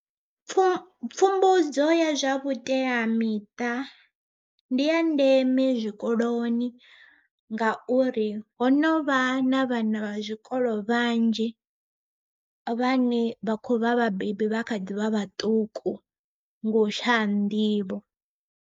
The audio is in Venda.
Pfhu pfhumbudzo ya zwa vhuteyamiṱa, ndiya ndeme zwikoloni ngauri ho novha na vhana vha zwikolo vhanzhi, vhane vha khovha vhabebi vha kha ḓivha vhaṱuku nga u tshaya nḓivho.